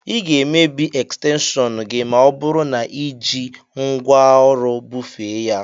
Ị ga-emebi ekstenshọnu gị ma ọ bụru na i ji ngwaọrụ bufee ya.